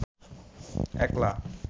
একলা